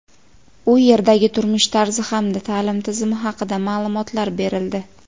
u yerdagi turmush tarzi hamda ta’lim tizimi haqida ma’lumotlar berildi.